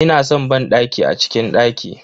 Ina san banɗaki a cikin daki.